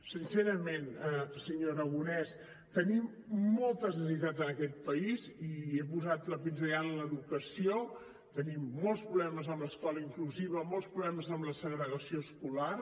sincerament senyor aragonès tenim moltes necessitats en aquest país i he posat la pinzellada en l’educació tenim molts problemes amb l’escola inclusiva molts problemes amb la segregació escolar